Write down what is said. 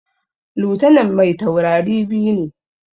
Lutanan mai taurari biyu ne